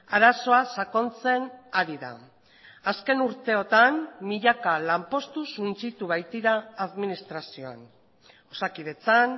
arazoa sakontzen ari da azken urteotan milaka lanpostu suntsitu baitira administrazioan osakidetzan